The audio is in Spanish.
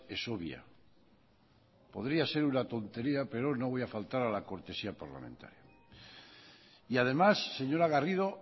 es obvia podría ser una tontería pero no voy a faltar a la cortesía parlamentaria y además señora garrido